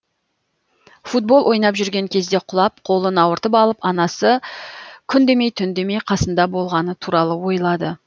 футбол ойнап жүрген кезде құлап қолын ауыртып алып анасы күн демей түн демей қасында болғаны туралы ойлады